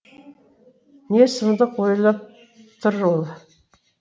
не сұмдық ойлап тұр ол